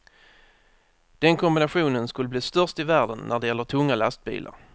Den kombinationen skulle bli störst i världen när det gäller tunga lastbilar.